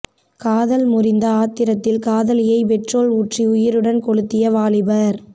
காதல் முறிந்த ஆத்திரத்தில் காதலியை பெட்ரோல் ஊற்றி உயிருடன் கொளுத்திய வாலிபர்